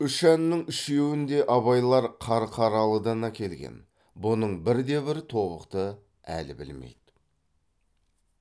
үш әннің үшеуін де абайлар қарқаралыдан әкелген бұның бірде бір тобықты әлі білмейді